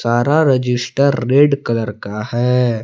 सारा register red colour का है।